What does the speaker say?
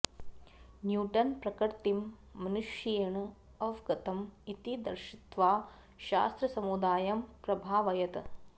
Newton प्रकृतिम् मनुष्येण अवगतम् इति दर्शित्वा शास्त्रसमुदायम् प्रभावयत्